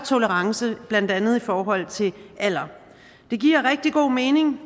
tolerance blandt andet i forhold til alder det giver rigtig god mening